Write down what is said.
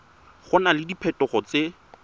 go na le diphetogo tse